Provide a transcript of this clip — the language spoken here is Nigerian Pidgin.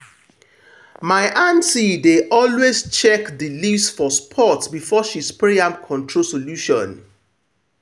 my aunty dey always check the leaves for spot before she spray any control solution.